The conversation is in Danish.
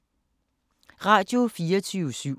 Radio24syv